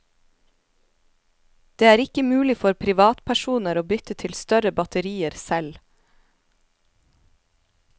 Det er ikke mulig for privatpersoner å bytte til større batterier selv.